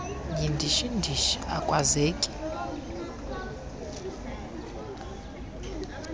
yindishi ndishi akwaaehaza